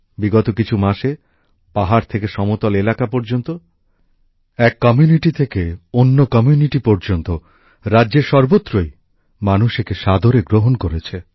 বিগত কিছু মাসে পাহাড় থেকে সমতল এলাকা পর্যন্ত এক সম্প্রদায় থেকে অন্য সম্প্রদায় পর্যন্ত রাজ্যের সর্বত্রই মানুষ একে সাদরে গ্রহণ করেছে